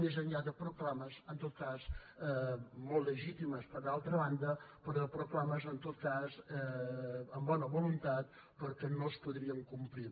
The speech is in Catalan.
més enllà de proclames en tot cas molt legítimes d’altra banda però de proclames en tot cas amb bona voluntat però que no es podrien complir